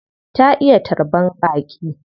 Ta iya tarban baƙi.